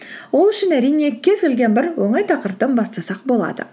ол үшін әрине кез келген бір оңай тақырыптан бастасақ болады